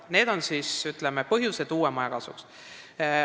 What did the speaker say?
Need on põhjused, miks otsustada uue maja kasuks.